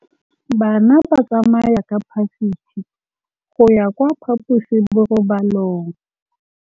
Bana ba tsamaya ka phašitshe go ya kwa phaposiborobalong.